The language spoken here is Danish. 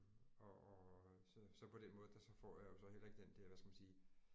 Og og så så på den måde der så får jeg jo så heller ikke den der hvad skal man sige